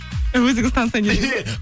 өзіңіз танысайын деп